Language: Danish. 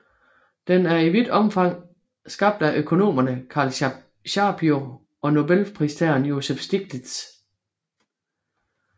Den er i vidt omfang skabt af økonomerne Carl Shapiro og Nobelpristageren Joseph Stiglitz